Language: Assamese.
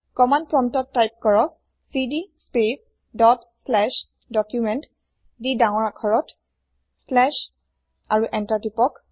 কমান্দ প্ৰম্পতত তাইপ কৰক চিডি স্পেচ ডট শ্লেচ Documentsডি কেপি্তেলতslash আৰু এন্তাৰ তিপক